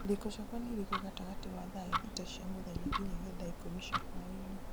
irĩko ciakwa nĩ irĩkũ gatagatĩ wa thaa thita cia mũthenya nginyagia thaa ikũmi cia hwaĩinĩ